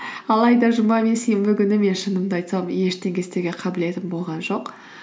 алайда жұма мен сенбі күні мен шынымды айтсам ештеңе істеуге қабілетім болған жоқ